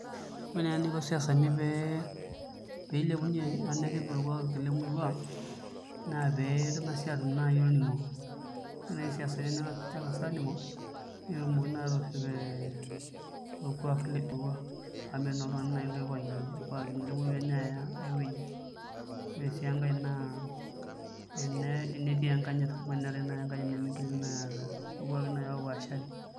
Ore naa eniko isiasani pee ilepunyie ashu nerrip orkuak lemurua naa pee eng'asi aatum naai olning'o ore ninche isiasani neng'as siinche aaning'o netumokini naa aatorrip orkuak lemurua amu metii naa naai oltung'ani oipang'ie orkuak lena aaya aai wueji, ore sii enkae naa tenetii enkanyit amu eneeku naai eetai enkanyit nemigili naai aata irkuaki oopaashari.